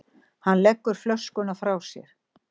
Hann leggur flöskuna frá sér.